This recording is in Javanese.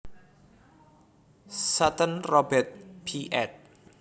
Sutton Robert P ed